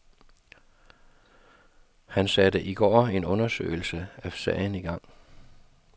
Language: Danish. Han satte i går en undersøgelse af sagen i gang.